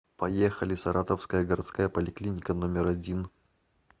поехали саратовская городская поликлиника номер один